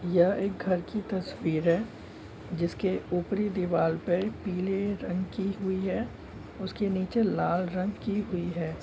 यह एक घर की तस्वीर है। जिसके ऊपरी दिवार पर पिले रंग की हुई है। उसके निचे लाल रंग की हुई है।